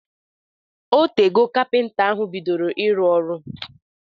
Otego kapịnta ahụ bidoro ịrụ ọrụ